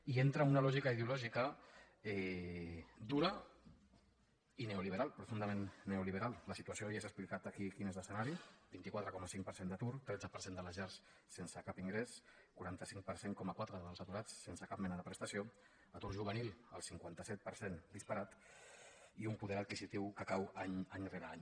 i entra una lògica ideològica dura i neoliberal profundament neoliberal la situació ja s’ha explicat aquí quin és l’escenari vint quatre coma cinc per cent d’atur tretze per cent de les llars sense cap ingrés quaranta cinc coma quatre per cent dels aturats sense cap mena de prestació atur juvenil el cinquanta set per cent disparat i un poder adquisitiu que cau any rere any